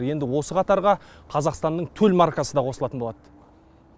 енді осы қатарға қазақстанның төл маркасы да қосылатын болады